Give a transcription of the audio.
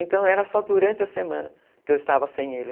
Então, era só durante a semana que eu estava sem ele.